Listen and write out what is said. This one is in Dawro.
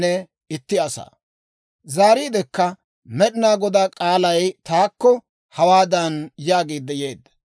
Zaariidekka Med'inaa Godaa k'aalay taakko hawaadan yaagiidde yeedda;